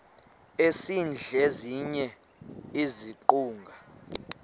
esidl eziny iziguqa